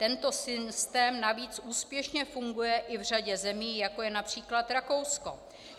Tento systém navíc úspěšně funguje i v řadě zemí, jako je například Rakousko.